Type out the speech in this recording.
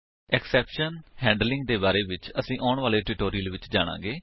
exception handling ਦੇ ਬਾਰੇ ਵਿੱਚ ਅਸੀ ਆਉਣ ਵਾਲੇ ਟਿਊਟੋਰਿਅਲ ਵਿੱਚ ਜਾਣਾਗੇ